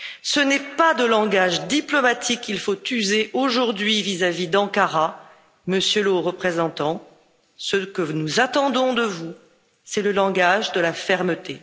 Ce n'est pas de langage diplomatique qu'il faut user aujourd'hui vis à vis d'Ankara, Monsieur le Haut représentant, ce que nous attendons de vous, c'est le langage de la fermeté.